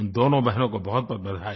उन दोनों बहनों को बहुतबहुत बधाई